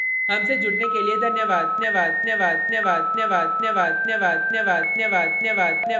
मैं यश वोरा अब आपसे विदा लेता हूँ हमसे जुड़ने के लिए धन्यवाद